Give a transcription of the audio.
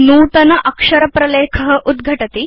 नूतन अक्षर प्रलेख उद्घटति